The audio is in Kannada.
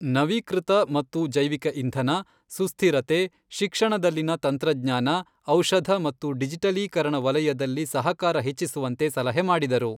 ನವೀಕೃತ ಮತ್ತು ಜೈವಿಕ ಇಂಧನ, ಸುಸ್ಥಿರತೆ, ಶಿಕ್ಷಣದಲ್ಲಿನ ತಂತ್ರಜ್ಞಾನ, ಔ಼ಷಧ ಮತ್ತು ಡಿಜಿಟಲೀಕರಣ ವಲಯದಲ್ಲಿ ಸಹಕಾರ ಹೆಚ್ಚಿಸುವಂತೆ ಸಲಹೆ ಮಾಡಿದರು.